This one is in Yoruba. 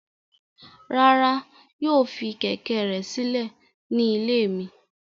Rara, yoo fi kẹ̀kẹ́ rẹ silẹ ni ile mi